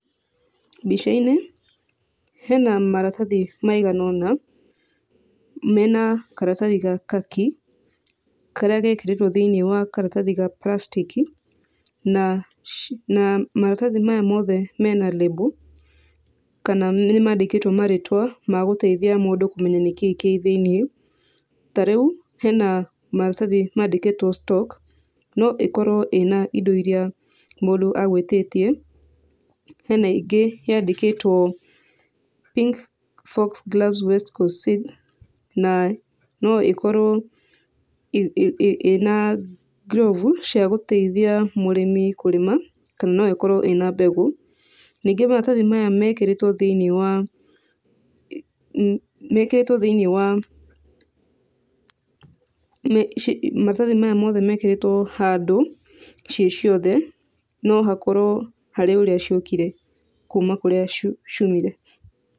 Mbica-inĩ hena maratathi maigana ũna, mena karatathi ga kaki, karĩa gekĩrĩtwo thĩiniĩ wa karatathi ga plastic i, na na maratathi maya mothe mena label kana nĩmandĩkĩtwo marĩtwa ma gũteithia mũndũ kũmenya nĩkĩĩ kĩ thĩiniĩ. Tarĩu hena maratathi mandĩkĩtwo stock. No ĩkorwo ĩna indo iria mũndũ agwĩtĩtie. Hena ingĩ yandĩkĩtwo pink fox glass west coast feeds na no ĩkorwo ĩna glove cia gũteithia mũrĩmi kũrĩma kana no ĩkrowo ĩna mbegũ. Ningĩ maratathi maya mekĩrĩtwo thĩiniĩ wa mekĩrĩtwo thĩiniĩ wa, maratathi maya mothe mekĩrĩtwo handũ ciĩ ciothe, no hakorwo harĩ ũrĩa ciokire kuma kũrĩa ciaumire.